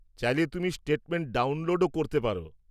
চাইলে তুমি স্টেটমেন্ট ডাউনলোডও করতে পার।